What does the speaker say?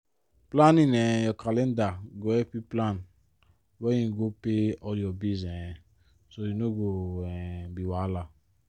planning um your calender go help you plan when you go pay all your bill um so e no go um be wahala.